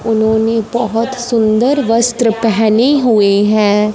उन्होंने बहुत सुंदर वस्त्र पहने हुए हैं।